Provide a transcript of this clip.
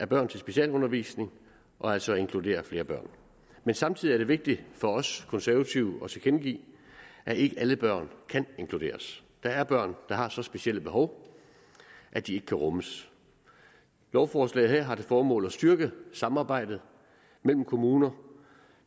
børn til specialundervisning og altså at inkludere flere børn men samtidig er det vigtigt for os konservative at tilkendegive at ikke alle børn kan inkluderes der er børn der har så specielle behov at de ikke kan rummes lovforslaget her har til formål at styrke samarbejdet mellem kommuner